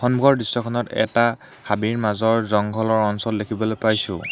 সন্মুখৰ দৃশ্যখনত এটা হাবিৰ মাজৰ জংঘলৰ অঞ্চল দেখিবলৈ পাইছোঁ।